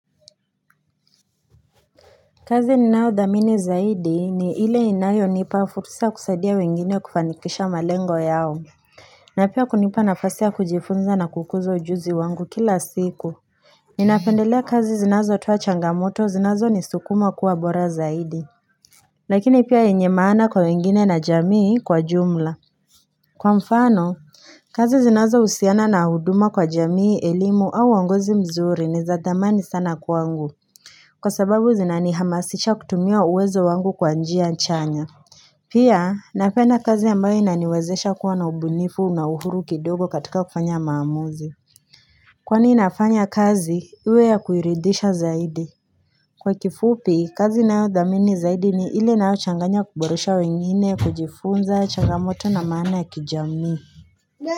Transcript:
Kazi ninaodhamini zaidi ni ile inayonipa fursi ya kusadia wengine kufanikisha malengo yao na pia kunipa nafasi ya kujifunza na kukuzo ujuzi wangu kila siku Ninapendelea kazi zinazotoa changamoto zinazo ni sukuma kuwa bora zaidi Lakini pia enye maana kwa wengine na jamii kwa jumla Kwa mfano kazi zinazohusiana na huduma kwa jamii elimu au wangozi mzuri ni zadamani sana kwa wangu Kwa sababu zinanihamasisha kutumia uwezo wangu kwa njia nchanya Pia napenda kazi ambayo inaniwezesha kuwa na ubunifu na uhuru kidogo katika kufanya maamuzi Kwa ni nafanya kazi, uwe ya kuiridisha zaidi Kwa kifupi, kazi nayo dhamini zaidi ni ili na yo changanya kuborosha wengine, kujifunza, changamoto na maana ya kijami.